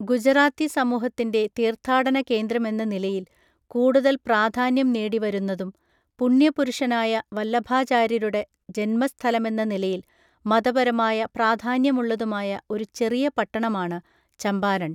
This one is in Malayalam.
ഗുജറാത്തി സമൂഹത്തിൻ്റെ തീർത്ഥാടന കേന്ദ്രമെന്ന നിലയിൽ കൂടുതൽ പ്രാധാന്യം നേടിവരുന്നതും, പുണ്യപുരുഷനായ വല്ലഭാചാര്യരുടെ ജന്മസ്ഥലമെന്ന നിലയിൽ മതപരമായ പ്രാധാന്യമുള്ളതുമായ ഒരു ചെറിയ പട്ടണമാണ് ചമ്പാരൺ .